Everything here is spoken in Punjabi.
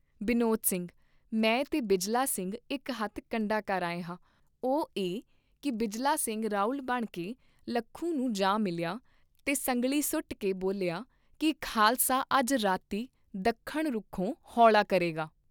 ਬਿਨੋਦ ਸਿੰਘ ਮੈਂ ਤੇ ਬਿਜਲਾ ਸਿੰਘ ਇਕ ਹੱਥ ਕੰਡਾ ਕਰ ਆਏ ਹਾਂ, ਉਹ ਇਹ ਕੀ ਬਿਜਲਾ ਸਿੰਘ ਰਾਉਲ ਬਣਕੇ ਲੱਖੂ ਨੂੰ ਜਾ ਮਿਲਿਆ ਤੇ ਸੰਗਲੀ ਸੁੱਟਕੇ ਬੋਲਿਆ ਕੀ ਖਾਲਸਾ ਅੱਜ ਰਾਤੀਂ ਦੱਖਣ ਰੁਖੋਂ ਹੌਲਾ ਕਰੇਗਾ